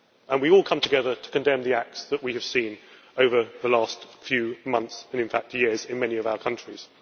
We all come together to condemn the acts that we have seen over the last few months, in fact years, in many of our countries.